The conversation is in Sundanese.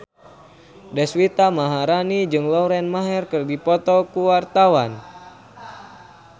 Deswita Maharani jeung Lauren Maher keur dipoto ku wartawan